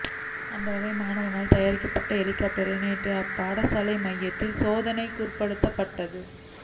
அந்த வகையில் மாணவனால் தயாரிக்கப்பட்ட ஹலிகொப்டரை நேற்று அப் பாடசாலை மைதானத்தில் சோதனைக்குற்படுத்தப்பட்டது